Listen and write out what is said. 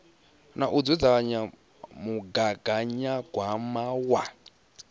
na u dzudzanya mugaganyagwama wa